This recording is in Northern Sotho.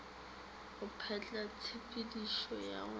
go betla tshepedišo ya go